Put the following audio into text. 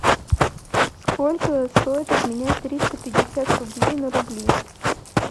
сколько стоит обменять триста пятьдесят рублей на рубли